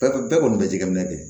Bɛɛ bɛɛ kɔni bɛ jɛgɛminɛ kɛ